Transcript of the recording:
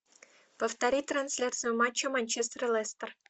повтори трансляцию матча манчестер лестер